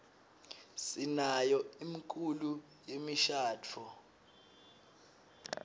sinayo imkulo yemishaduo